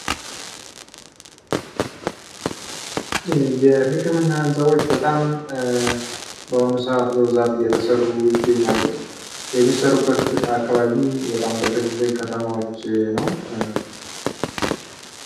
የሕክምና ህንጻዎች በጣም በሆኑ ሰዓት በብዛት እየተሰሩ ይገኛሉ። የሚሰሩበት አካባቢው በጣም በትልልቅ ከተማዎች ነው።